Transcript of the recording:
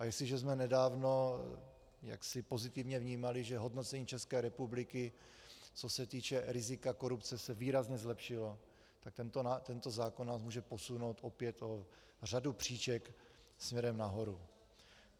A jestliže jsme nedávno jaksi pozitivně vnímali, že hodnocení České republiky, co se týče rizika korupce, se výrazně zlepšilo, tak tento zákon nás může posunout opět o řadu příček směrem nahoru.